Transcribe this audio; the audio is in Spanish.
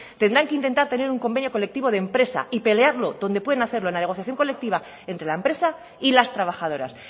tendrán que intentar tener un convenio colectivo de empresa y pelearlo donde pueden hacerlo en la negociación colectiva entre la empresa y las trabajadoras